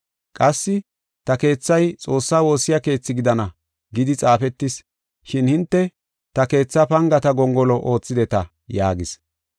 Qassi, “ ‘Ta keethay Xoossaa woossiya keethi gidana’ gidi xaafetis, shin hinte ta keethaa pangata gongolo oothideta” yaagis.